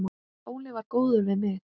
Óli var góður við mig.